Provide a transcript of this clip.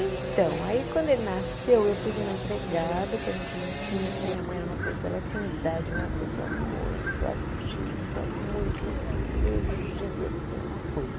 Então, aí quando ele nasceu eu pus uma empregada que a gente não tinha, porque minha mãe era uma pessoa, ela tinha idade, mas era uma pessoa muito ativa, muito energia, assim, uma coisa.